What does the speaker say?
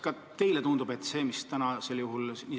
Kuidas teile tundub?